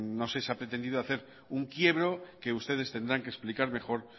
no sé si se ha pretendido hacer un quiebro que ustedes tendrán que explicar mejor